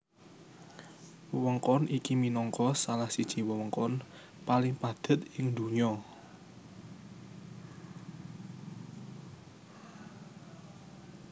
Wewengkon iki minangka salah siji wewengkon paling padhet ing donya